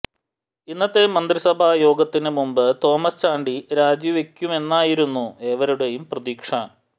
ഇന്നത്തെ മന്ത്രിസഭാ യോഗത്തിന് മുമ്പ് തോമസ് ചാണ്ടി രാജിവയ്ക്കുമെന്നായിരുന്നു ഏവരുടേയും പ്രതീക്ഷ